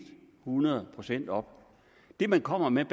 hundrede procent op det man kommer med